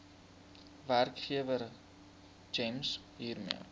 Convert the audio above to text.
werkgewer gems hiermee